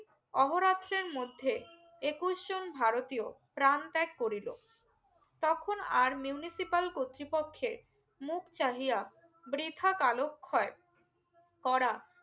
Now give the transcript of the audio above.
ওহোরাত্রের মধ্যে একুশ জন ভারতীয় প্রান ত্যাগ করিলো তখন আর Municipal কর্তৃপক্ষে মুখ চাহিয়া বৃথা কালো খয় করা